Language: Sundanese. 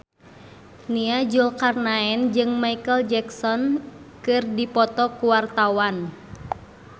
Nia Zulkarnaen jeung Micheal Jackson keur dipoto ku wartawan